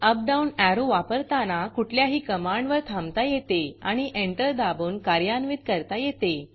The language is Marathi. अप डाऊन एरो एरोवापरताना कुठल्याही कमांडवर थांबता येते आणि एंटर दाबून कार्यान्वित करता येते